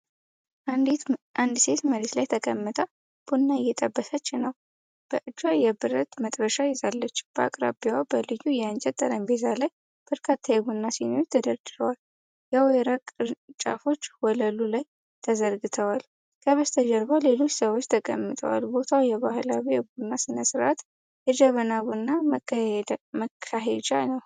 አንዲት ሴት መሬት ላይ ተቀምጣ ቡና እየጠበሰች ነው። በእጇ የብረት መጥበሻ ይዛለች። በአቅራቢያዋ በልዩ የእንጨት ጠረጴዛ ላይ በርካታ የቡና ሲኒዎች ተደርድረዋል። የወይራ ቅርንጫፎች ወለሉ ላይ ተዘርግተዋል። ከበስተጀርባ ሌሎች ሰዎች ተቀምጠዋል። ቦታው የባህላዊ የቡና ሥነ-ስርዓት (ጀበና ቡና) መካሄጃ ነው።